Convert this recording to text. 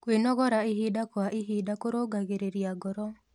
Kwĩnogora ĩhĩda kwa ĩhĩda kũrũngagĩrĩrĩa ngoro